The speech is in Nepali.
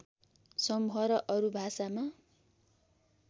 समूह र अरू भाषामा